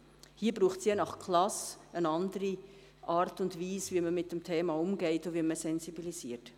Hier braucht es je nach Klasse eine andere Art und Weise, wie man mit dem Thema umgeht und wie man sensibilisiert.